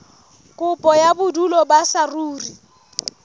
kopo ya bodulo ba saruri